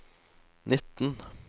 nitten